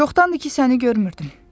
Çoxdandır ki səni görmürdüm.